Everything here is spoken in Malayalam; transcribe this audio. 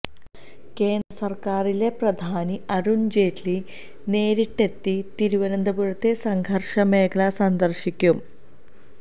കേന്ദ്രസര്ക്കാറിലെ പ്രധാനി അരുണ് ജെയ്റ്റ്ലി നേരിട്ടെത്തി തിരുവനന്തപുരത്തെ സംഘര്ഷ മേഖലകള് സന്ദര്ശിക്കും